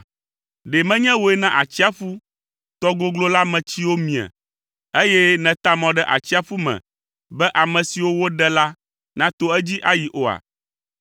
Ɖe menye wòe na atsiaƒu, tɔ goglo la me tsiwo mie, eye nèta mɔ ɖe atsiaƒu me be ame siwo woɖe la nato edzi ayi oa?